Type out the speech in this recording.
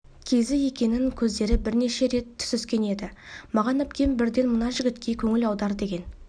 кезі екінің көздері бірнеше рет түсіскен еді маған әпкем бірден мына жігітке көңіл аудар деген